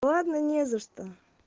ладно не за что